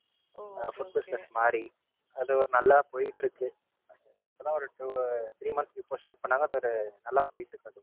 Food business மாறி. அது ஒரு நல்லா போயிட்டு இருக்கு. இப்பதான் Two three months before start பண்ணாங்க இப்ப இது நல்லா போயிட்டு இருக்கு அது.